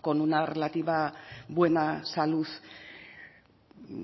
con una relativa buena salud